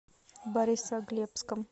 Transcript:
борисоглебском